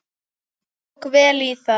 Hann tók vel í það.